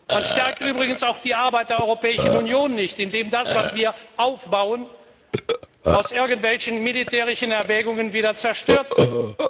Man stärkt übrigens auch nicht die Arbeit der Europäischen Union, indem das, was wir aufbauen, aus irgendwelchen militärischen Erwägungen wieder zerstört wird.